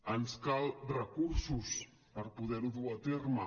ens cal recursos per poder ho dur a terme